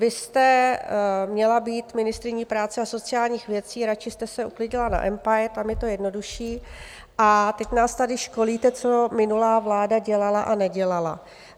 Vy jste měla být ministryní práce a sociálních věcí, radši jste se uklidila na umpire, tam je to jednodušší, a teď nás tady školíte, co minulá vláda dělala a nedělala.